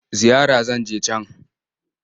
Ziyara zan je can.